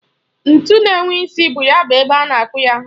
Ntu na-enwe isi bu ya bụ ebe a na-akụ ya hama.